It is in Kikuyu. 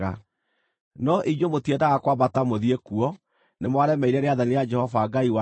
No inyuĩ mũtiendaga kwambata mũthiĩ kuo; nĩ mwaremeire rĩathani rĩa Jehova Ngai wanyu.